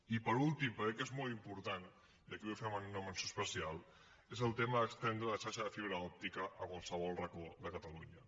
i per últim però crec que és molt important i aquí hi vull fer una menció especial és el tema d’estendre la xarxa de fibra òptica a qualsevol racó de catalunya